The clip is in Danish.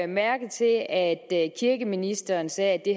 mærke til at kirkeministeren sagde at det